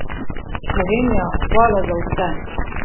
Slovenija, hvala za vse!